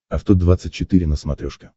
авто двадцать четыре на смотрешке